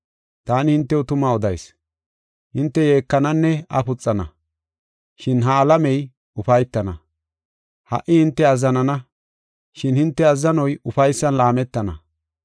Taani hintew tuma odayis; hinte yeekananne afuxana, shin ha alamey ufaytana. Ha77i hinte azzanana, shin hinte azzanoy ufaysan laametana.